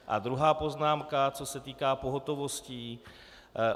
A druhá poznámka, co se týká pohotovostí.